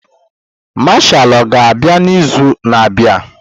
Mashal ọga-abịa n'izu na-abịa?